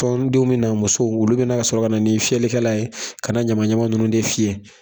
Tɔndenw me na, musow olu bɛ na sɔrɔ ka na ni fiyɛlikɛlan ye, ka ɲama ɲama ninnu de fiyɛ.